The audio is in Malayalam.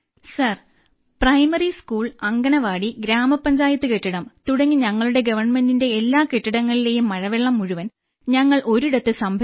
sir primary school anganwadi grama panchayat കെട്ടിടം തുടങ്ങി ഞങ്ങളുടെ ഗവൺമെന്റിന്റെ എല്ലാ കെട്ടിടങ്ങളിലെയും മഴവെള്ളം മുഴുവൻ ഞങ്ങൾ ഒരിടത്ത് സംഭരിച്ചു